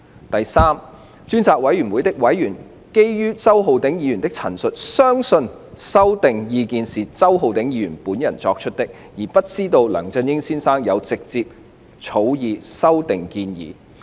第三，專責委員會的委員基於周議員的陳述，相信修訂建議是周議員本人作出，而不知道梁先生有直接草擬修訂建議。